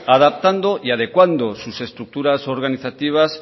adaptando y adecuando sus estructuras organizativas